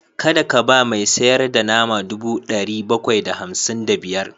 Kada ka ba mai sayar da nama dubu ɗari bakwai da hamsin da biyar